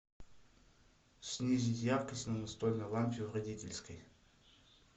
снизить яркость на настольной лампе в родительской